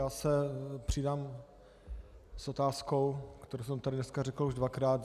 Já se přidám s otázkou, kterou jsem tady dneska řekl už dvakrát.